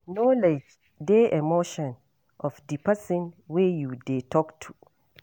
Acknowlege di emotion of di person wey you dey talk to